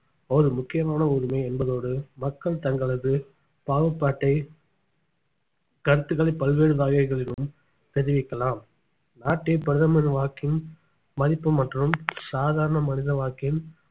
ஒரு முக்கியமான உரிமை என்பதோடு மக்கள் தங்களது பாகுபாட்டை கருத்துக்களை பல்வேறு வகைகளிலும் தெரிவிக்கலாம் நாட்டை பிரதமர் வாக்கின் மதிப்பு மற்றும் சாதாரண மனித வாக்கின்